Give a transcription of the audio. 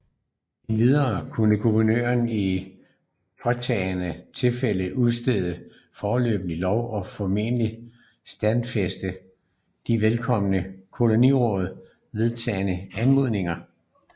Endvidere kunne guvernøren i påtrængende tilfælde udstede foreløbige love og foreløbigt stadfæste de af vedkommende kolonialråd vedtagne anordninger